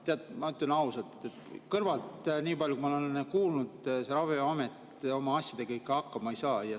Tead, ma ütlen ausalt, niipalju kui ma olen kõrvalt kuulnud, see Ravimiamet oma asjadega ikka hakkama ei saa.